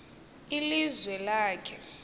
iliz wi lakhe